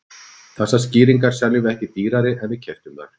Þessar skýringar seljum við ekki dýrari en við keyptum þær.